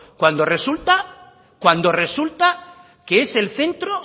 cuando resulta que es el centro